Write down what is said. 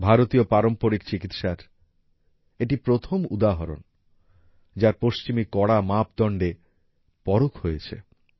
ভারতীয় পারম্পরিক চিকিৎসার এটি প্রথম উদাহরণ যার পশ্চিমী কড়া মাপদন্ডে পরখ হয়েছে